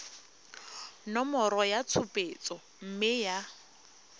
nomoro ya tshupetso mme ya